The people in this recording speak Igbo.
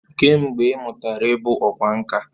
Kee mgbe ị mụtara ịbụ ọkwá nkà?